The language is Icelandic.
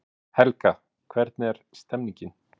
Helga, hvernig er stemningin?